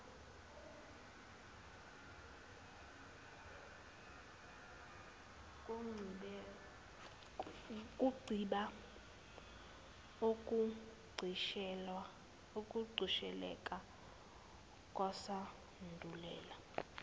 kuncipha ukugqisheleka kwesandulela